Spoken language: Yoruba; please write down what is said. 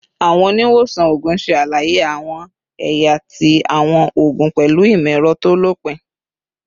Awọn oniwosan oogun ṣe alaye awọn ẹya ti awọn oogun pẹlu imọ-ẹrọ to lopin